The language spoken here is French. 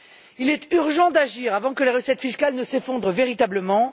Il est urgent d'agir avant que les recettes fiscales ne s'effondrent véritablement.